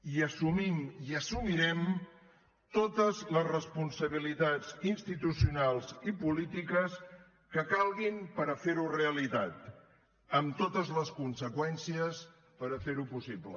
i assumim i assumirem totes les responsabilitats institucionals i polítiques que calguin per fer ho realitat amb totes les conseqüències per fer ho possible